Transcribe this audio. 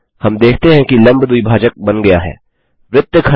हम देखते हैं कि लम्ब द्विभाजक परपेंडिकुलर बाइसेक्टर बन गया है